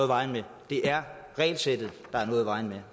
vejen med det er regelsættet der er noget i vejen med